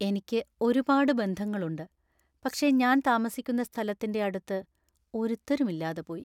എനിക്ക് ഒരുപാട് ബന്ധങ്ങളുണ്ട്; പക്ഷേ ഞാൻ താമസിക്കുന്ന സ്ഥലത്തിൻ്റെ അടുത്ത് ഒരുത്തരും ഇല്ലാതെപോയി.